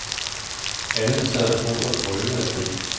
Alle der sad om bordet, brølede af grin.